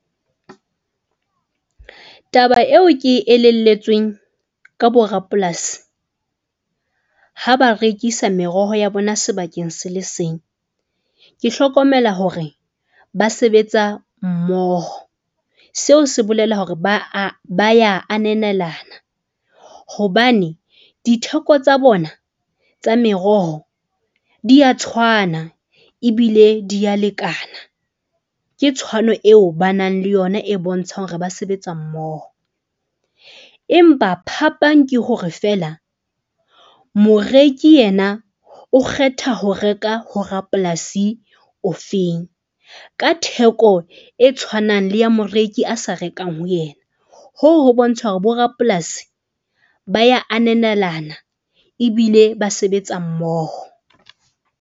Taba eo ke e elelletsweng ka bo rapolasi ha ba rekisa meroho ya bona sebakeng se le seng. Ke hlokomela hore ba sebetsa mmoho seo se bolela hore ba a, ba ya ananelana. Hobane ditheko tsa bona tsa meroho di a tshwana ebile di a lekana ke tshwano eo ba nang le yona e bontshang hore ba sebetsa mmoho. Empa phapang ke hore feela. Moreki yena o kgetha ho reka ho rapolasi ofeng ka theko e tshwanang le ya moreki a sa rekang ho yena hoo ho bontsha hore bo rapolasi ba ya ananelana, ebile ba sebetsa mmoho.